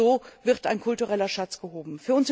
Und so wird ein kultureller Schatz gehoben.